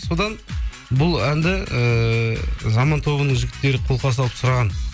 содан бұл әнді ііі заман тобының жігіттері қолқа салып сұраған